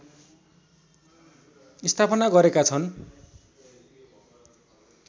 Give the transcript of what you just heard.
स्थापना गरेका छन्